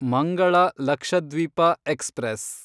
Mangala Lakshadweep express